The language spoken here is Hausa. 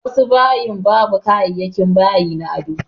Wasu bayin babu kayayakin bayi na ado.